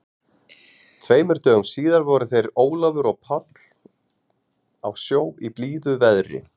Tveimur dögum síðar voru þeir Ólafur og Páll á sjó í blíðu veðri.